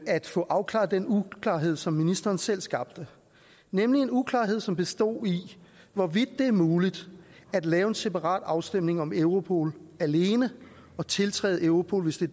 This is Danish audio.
at få afklaret den uklarhed som ministeren selv skabte nemlig en uklarhed som bestod i hvorvidt det er muligt at lave en separat afstemning om europol alene og tiltræde europol hvis det